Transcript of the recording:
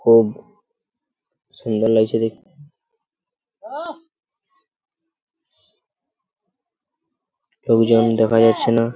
খুব সুন্দর লাগছে দেখতে লোকজন দেখা যাচ্ছে না ।